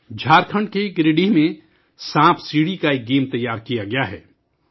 جھارکھنڈ کے گریڈیہہ میں سانپ سیڑھی کا ایک کھیل تیار کیا گیا ہے